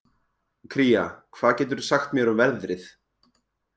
Kría, hvað geturðu sagt mér um veðrið?